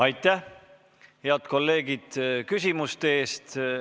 Aitäh, head kolleegid, küsimuste eest!